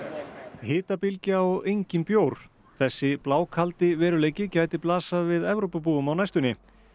hitabylgja og enginn bjór þessi blákaldi veruleiki gæti blasað við Evrópubúum á næstunni